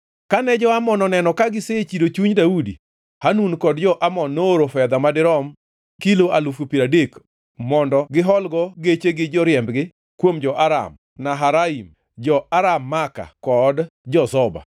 Kane jo-Amon oneno ka gisechido chuny Daudi, Hanun kod jo-Amon nooro fedha madirom kilo alufu piero adek mondo giholgo geche gi joriembgi kuom jo-Aram-Naharaim, jo-Aram Maaka kod jo-Zoba.